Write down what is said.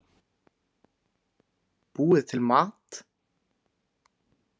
Búið til mat?